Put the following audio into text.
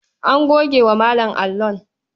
An goge wa Malam allon.